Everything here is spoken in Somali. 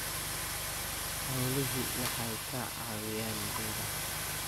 Xooluhu waxay ka caawiyaan beeraha.